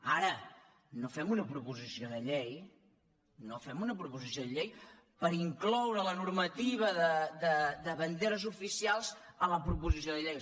ara no fem una proposició de llei no fem una proposició de llei per incloure la normativa de banderes ofi cials a la proposició de llei